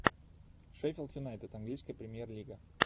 шеффилд юнайтед английская премьер лига